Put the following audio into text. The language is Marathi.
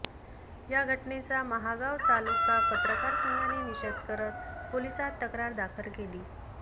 या घटनेचा महागाव तालुका पत्रकार संघाने निषेध करत पोलिसांत तक्रार दाखल केली